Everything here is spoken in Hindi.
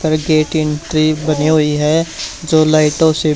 ट्री बनी हुई है। जो लाइटों से--